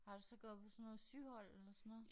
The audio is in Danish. Har du så gået på sådan noget syhold eller sådan noget